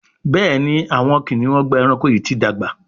Béèni Awọn kiniun Ọgbà ẹranko yi ti dàgbà.